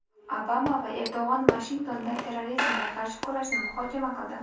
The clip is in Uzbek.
Obama va Erdo‘g‘on Vashingtonda terrorizmga qarshi kurashni muhokama qildi.